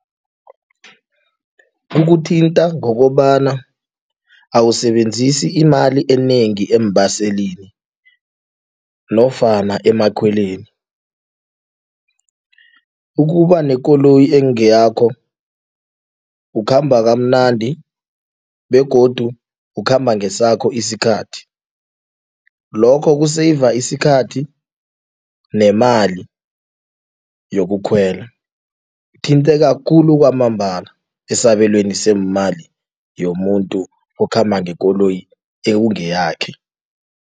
Kukuthinta ngokobana awusebenzisi imali enengi eembaselini nofana emakhweleni, ukuba nekoloyi ekungeyakho ukhamba kamnandi begodu ukhamba ngesakho isikhathi, lokho ku-save isikhathi nemali yokukhwela uthinteka khulu kwamambala esabelweni seemali yomuntu okhamba ngekoloyi ekungeyakho.